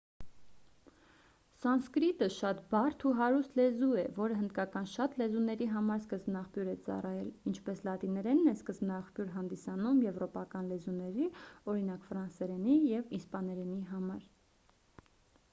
սանսկրիտը շատ բարդ ու հարուստ լեզու է որը հնդկական շատ լեզուների համար սկզբնաղբյուր է ծառայել ինչպես լատիներենն է սկզբնաղբյուր հանդիսանում եվրոպական լեզուների օրինակ ֆրանսերենի և իսպաներենի համար